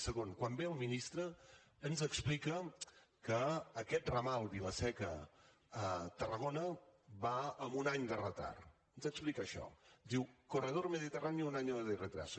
segon quan ve el ministre ens explica que aquest ramal vila seca tarragona va amb un any de retard ens explica això ens diu corredor mediterráneo un año de retraso